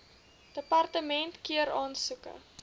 departement keur aansoeke